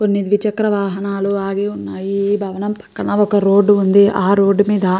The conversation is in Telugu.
కొన్ని ద్విచక్ర వాహనాలు ఆగివున్నాయి. ఈ భవనం పక్కన ఒక రోడ్డు ఉంది. ఆ రోడ్డు మీద --